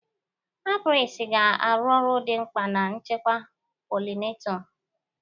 Apiaries ga-arụ ọrụ dị mkpa na nchekwa pollinator.